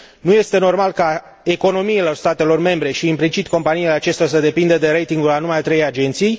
Nu este normal ca economiile statelor membre și, implicit, companiile acestora, să depindă de ratingul a numai trei agenții.